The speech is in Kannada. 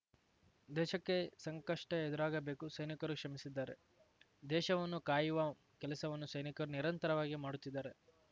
ದೇಶಕ್ಕೆ ಸಂಕಷ್ಟ ಎದುರಾಗಬೇಕು ಸೈನಿಕರು ಶ್ರಮಿಸಿದ್ದಾರೆ ದೇಶವನ್ನು ಕಾಯುವ ಕೆಲಸವನ್ನು ಸೈನಿಕರು ನಿರಂತರವಾಗಿ ಮಾಡುತ್ತಿದ್ದಾರೆ